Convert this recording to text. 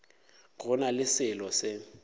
go na le selo se